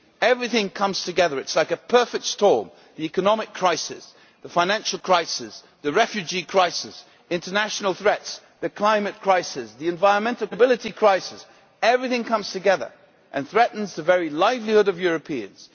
Everything has come together like a perfect storm the economic crisis, the financial crisis, the refugee crisis, international threats, the climate crisis, the environmental crisis and the sustainability crisis. Everything has come together and threatens the very livelihood of Europeans.